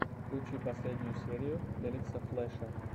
включи последнюю серию элекса флэша